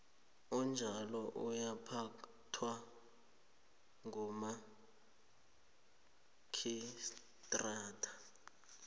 enjalo yaphathwa ngumarhistrata